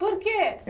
Por quê?